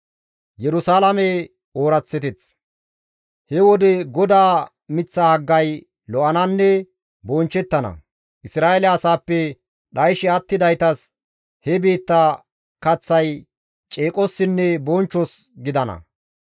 He wode GODAA miththa haggay lo7ananne bonchchettana; Isra7eele asaappe dhayshe attidaytas he biitta kaththay ceeqossinne bonchchos gidana.